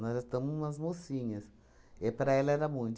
Nós já estamos umas mocinhas, e para ela era muito.